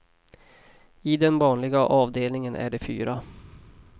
I den vanliga avdelningen är det fyra.